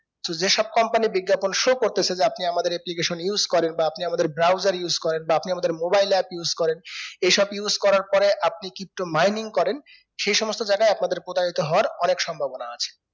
so যেই সব company বিজ্ঞাপন show করতেছে যে আপনি আমাদের application use করেন বা আপনি আমাদের browser use করেন বা আপনি আমাদের mobile app use করেন এই সব use করার পরে আপনি pto mining করেন সেই সমস্ত জায়গায় আপনাদের প্রতারিত হতে হওয়ার অনেক সম্ভবনা আছে